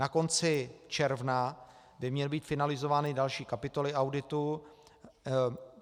Na konci června by měly být finalizovány další kapitoly auditu.